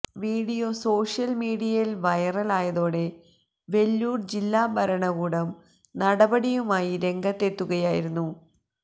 video social മീഡിയയില് വൈറലായതോടെ വെല്ലൂര് ജില്ലാ ഭരണകൂടം നടപടിയുമായി രംഗത്തെത്തുകയായിരുന്നു